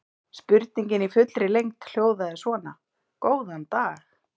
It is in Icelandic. Spurningin í fullri lengd hljóðaði svona: Góðan dag.